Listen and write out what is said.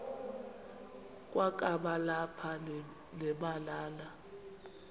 kwakaba lapha nemalana